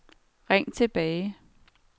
ring tilbage